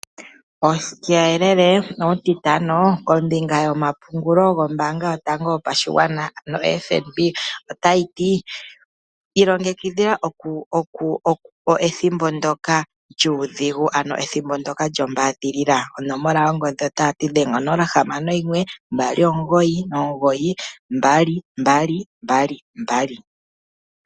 Uuyelele uutitano kombinga yo mapungulo gombaanga yotango yopashigwana ano FNB otayiti ilongekidhila ethimbo nsoka lyuudhigu ano ethimbo ndoka lyombaadhilila . Dhenga onomola 061 2992222